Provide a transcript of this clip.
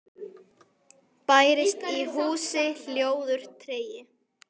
Bærist í húsi hljóður tregi.